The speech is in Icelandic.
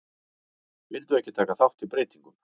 Vildu ekki taka þátt í breytingum